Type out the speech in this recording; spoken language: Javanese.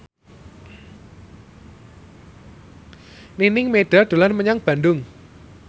Nining Meida dolan menyang Bandung